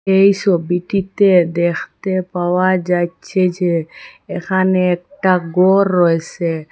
এই সবিটিতে দেখতে পাওয়া যাইচ্ছে যে এখানে একটা গর রয়েসে।